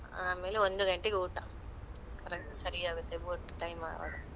ಆಮೇಲೆ ಒಂದು ಗಂಟೆಗೆ ಊಟ, correct ಸರಿ ಆಗುತ್ತೆ ಊಟದು time ಆವಾಗ.